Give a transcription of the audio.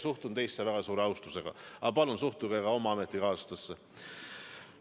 Suhtun teisse väga suure austusega, aga palun suhtuge nii ka oma ametikaaslastesse.